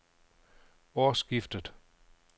årsskiftet